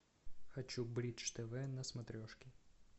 хочу бридж тв на смотрешке